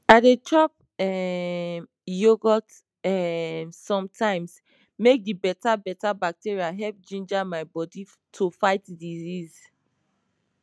i dey chop um yogurt um sometimes make the beta beta bacteria help ginger my bodi to fight disease